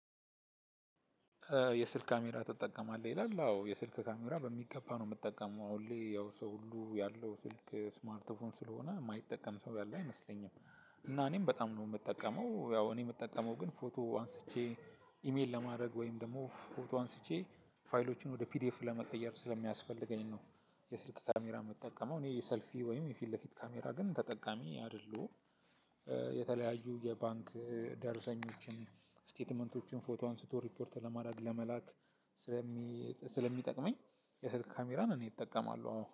የስልክ ካሜራ ትጠቀማለህ ይላል አዎ የስልክ ካሜራ በሚገባ ነው ምጠቀመው አሁን ላይ ያው ሰው ሁሉ ያለው ስልክ ስማርት ፎን ስለሆነ ማይጠቀም ሰው ያለ አይመስለኝም። እና እኔም በጣም ነው ምጠቀመው ያው እኔ ምጠቀመው ግን ፎቶ አንስቼ ኢሜል ለማድረግ ወይም ደግሞ ፎቶ አንስቼ ፋይሎቹን ወደ ፒዲኤፍ ለመቀየር ስለሚያስፈልገኝ ነው። የስልክ ካሜራ ምጠቀመው እኔ የሰልፊ ወይም የፊት ለፊት ካሜራ ግን ተጠቃሚ አደለሁም። የተለያዩ የባንክ ደርሰኞችን ስቴትመንቶችን ፎቶ አንስቶ ሪፖርት ለማድረግ ለመላክ ስለሚ ስለሚጠቅመኝ። የስልክ ካሜራን እኔ እጠቀማለሁ